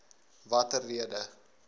watter rede